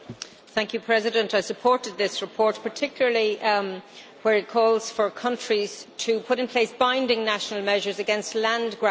Mr President, I supported this report, particularly where it calls for countries to put in place binding national measures against land grabbing.,